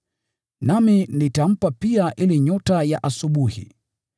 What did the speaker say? Nami nitampa pia ile nyota ya asubuhi.